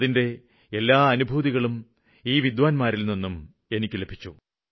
അവരുടെ എല്ലാ അനുഭൂതികളും ഈ വിദ്വാന്മാരില്നിന്നും എനിക്ക് ലഭിച്ചു